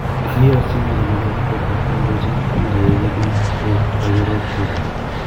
Kagi yosyi menecha Mikel Arteta neindochin pundieg Edu o gagerop esabu